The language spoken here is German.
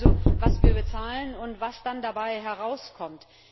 Wissen wir also, was wir bezahlen und was dann dabei herauskommt?